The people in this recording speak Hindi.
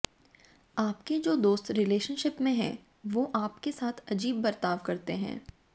आपके जो दोस्त रिलेशनशिप में हैं वो आपके साथ अजीब बर्ताव करते हैं